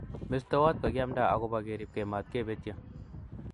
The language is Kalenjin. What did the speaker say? Mestowot kokiamda agobo keribke matkepetye